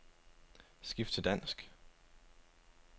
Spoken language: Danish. Skift til dansk.